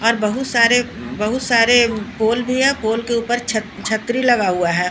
और बहुत सारे बहुत सारे पोल भी है पोल के ऊपर छत्छत्री लगा हुआ है।